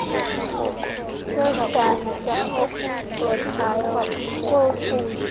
kwesantya okucothayo kokutya